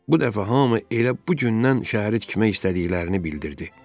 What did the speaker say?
Bu dəfə hamı elə bu gündən şəhəri tikmək istədiklərini bildirdi.